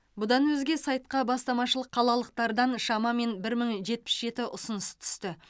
бұдан өзге сайтқа бастамашыл қалалықтардан шамамен бір мың жетпіс жеті ұсыныс түсті